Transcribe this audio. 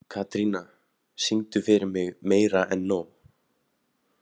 Katrína, syngdu fyrir mig „Meira En Nóg“.